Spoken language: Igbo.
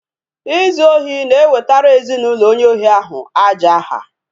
Izu ohi na-ewtara ezinụlọ onye ohi ahụ aja aha